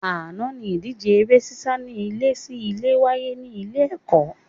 Àná ni ìdíje eré sísá ní ilé sí ilé wáyé ní ilé ẹ̀kọ́